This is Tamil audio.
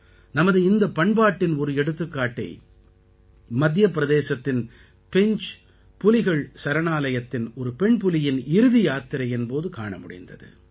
நமது இந்தப் பண்பாட்டின் ஒரு எடுத்துக்காட்டை மத்திய பிரதேசத்தின் பெஞ்ச் புலிகள் சரணாலயத்தின் ஒரு பெண்புலியின் இறுதி யாத்திரையின் போது காண முடிந்தது